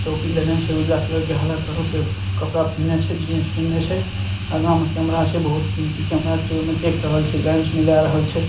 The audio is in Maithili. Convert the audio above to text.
टोपी लगेने छै उजला कलर के हरा कलर के कपड़ा पहिना छै जिन्स पहिने छै अगा में कैमरा छै बहुत कीमती कैमरा छै जो ओय में देख रहल छै लेंस मिला रहल छै।